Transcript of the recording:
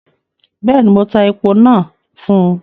Bẹ́ẹ̀ni, mo tá èpo nàá fún